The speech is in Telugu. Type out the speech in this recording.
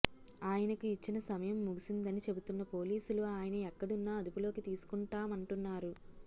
ఆయనకు ఇచ్చిన సమయం ముగిసిందని చెబుతున్న పోలీసులు ఆయన ఎక్కడున్నా అదుపులోకి తీసుకుంటామంటున్నారు